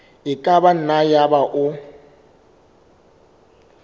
e ka nna yaba o